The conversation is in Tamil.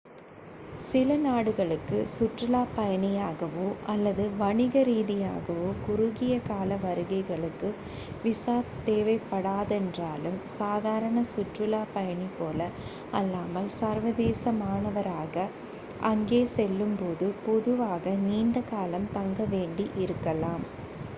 சில நாடுகளுக்கு சுற்றுலாப் பயணியாகவோ அல்லது வணிக ரீதியாகவோ குறுகிய கால வருகைகளுக்கு விசா தேவைப்படாதென்றாலும் சாதாரண சுற்றுலா பயணி போல அல்லாமல் சர்வதேச மாணவராக அங்கே செல்லும்போது பொதுவாக நீண்ட காலம் தங்க வேண்டி இருக்கலாம்